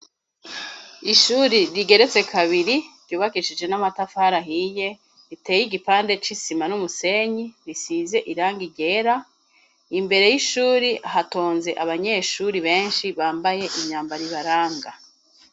Ishuri rigeretse kabiri ryubakishije n'amatafari ahiye, riteye igipande c'isima n'umusenyi, risize irangi ryera. Imbere y'ishuri hatonze abanyeshuri benshi bambaye imyambaro ibaranga.